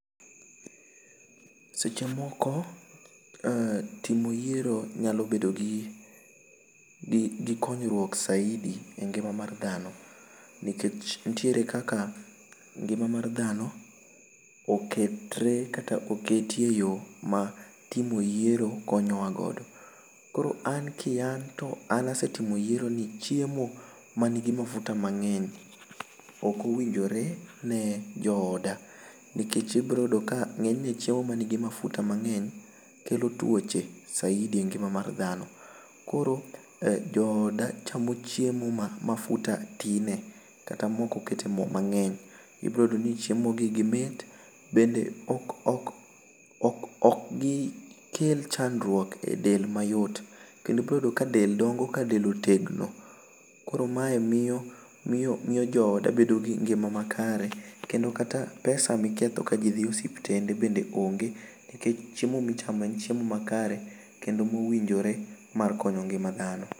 Seche moko timo yiero nyalo bedo gi konyruok saidi e ngima mar dhano ni kech ni tiere kaka ngima mar ndano o ketre kata okete e yo ma timo yiero konyo wa godo am ki an to asetimo yiero ni chiemo ma ni gi mafuta mangeny ok owinjore ne jo oda nikech i biro yudo ka ngenyne chiemo ma ni gi mafuta mangeny kelo tuoch saidi e ngima mar dhano koro jo oda chamo chiemo ma mafuta tinie kata ma ok oketie mo ma ngeny i biro yudo ni chiemo gi mit ok kel chandruok e del mayot kendo i biro yudo ka del dongo ka del otegno koro ma e miyo jo oda bedo gi ngima ma kare kendo pesa ma iketho ka ji dhi osiptende bende onge ni kech chiemo mi chamo en chiemo ma kare ma owinjore mar konyo ngima dhano.